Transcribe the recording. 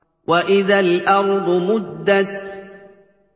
وَإِذَا الْأَرْضُ مُدَّتْ